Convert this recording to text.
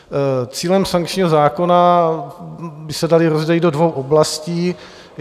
Cíle sankčního zákona by se daly rozdělit do dvou oblastí.